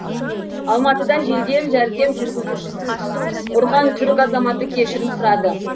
алматыда жедел жәрдем жүргізушісін ұрған түрік азаматы кешірім сұрады